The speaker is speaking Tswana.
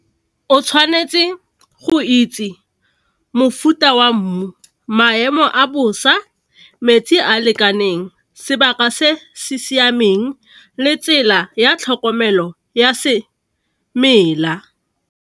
O tshwanetse go itse mofuta wa mmu, maemo a bosa, metsi a lekaneng sebaka se se siameng le tsela ya tlhokomelo ya semela.